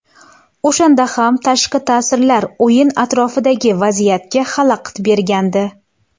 O‘shanda ham tashqi ta’sirlar o‘yin atrofidagi vaziyatga xalaqit bergandi.